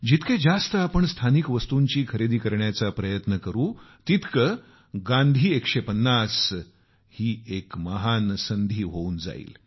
जितके जास्त आपण स्थानिक वस्तूची खरेदी करण्याचा प्रयत्न करू तितकी गांधी 150 एक महान संधी होऊन जाईल